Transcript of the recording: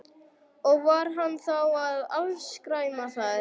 Og var hann þá að afskræma þær?